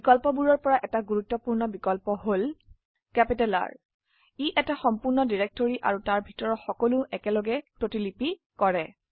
বিকল্পবোৰৰ পৰা এটা গুৰুত্বপূৰ্ণ বিকল্প হল R ই এটা সম্পূৰ্ণ ডিৰেটৰি আৰু তাৰ ভিতৰৰ সকলো একেলগে প্ৰতিলিপি কৰে